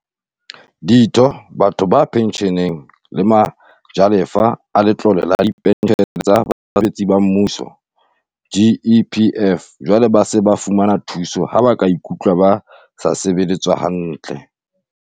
Ditho, batho ba pentjheleng le ma jalefa a Letlole la Dipentjhele tsa Basebetsi ba Mmuso, GEPF, jwale ba se ba fumana thuso ha ba ikutlwa ba sa sebeletswa hantle.